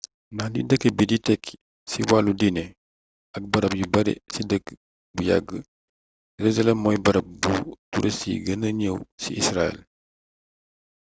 ndax li dëkk bi di tekki ci wàllu diine ak barab yu bare ci dëkk bu yàgg jerusalem mooy barab buuu turist gën ñëw ci israel